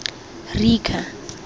rika